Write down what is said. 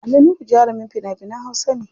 Ali Nuhu jarumin fina finan hausa ne.